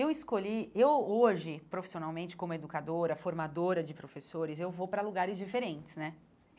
Eu escolhi... eu hoje, profissionalmente, como educadora, formadora de professores, eu vou para lugares diferentes, né?